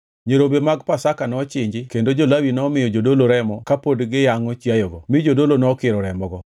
Nyirombe mag Pasaka nochinji kendo jo-Lawi nomiyo jodolo remo kapod giyangʼo chiayogo mi jodolo nokiro remogo.